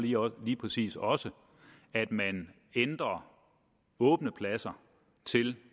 jo lige præcis også at man ændrer åbne pladser til